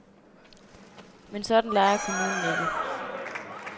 Men sådan leger kommunen ikke.